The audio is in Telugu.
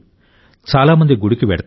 చాలా మంది గుడికి వెళ్తారు